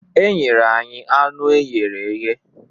E nyere anyị anụ eghere eghe.